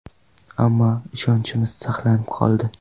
Ammo ishonchimiz saqlanib qoldi”.